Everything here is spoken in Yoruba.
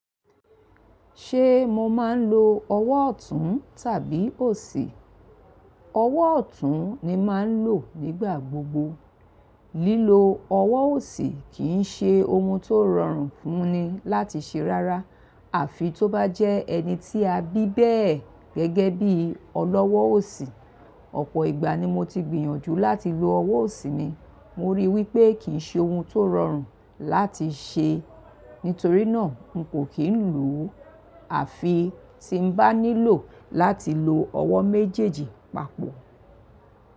Ṣé mo máa ń lo ọwọ́ ọ̀tún tàbí òsì? Ọwọ́ ọ̀tún ni màá ń lò nígbà gbogbo. Lílo ọwọ́ òsì kì í ṣe ohun tó rọrùn fún ni láti ṣe rárá. Àfi tó bá jẹ́ ẹni tí a bí bẹ́ẹ̀ gẹ́gẹ́ bí ọlọ́wọ́ òsì, ọ̀pọ̀ ìgbà ni mo ti gbìyànjú láti lo ọwọ́ òsì mi, mo ríi wípé kì í ṣe ohun tó rọrùn láti ṣe. Nítorí náà, n kò kí ń lò ó. Àfi tí n bá nílò láti lo ọwọ́ méjèèjì papọ̀.